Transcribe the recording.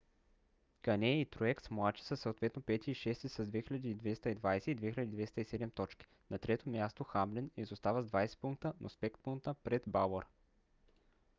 кане и труекс младши са съответно пети и шести с 2220 и 2207 точки. на трето място хамлин изостава с 20 пункта но с 5 пункта пред бауър